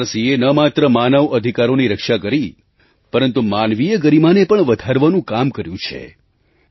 NHRCએ ન માત્ર માનવ અધિકારોની રક્ષા કરી પરંતુ માનવીય ગરીમાને પણ વધારવાનું કામ કર્યું છે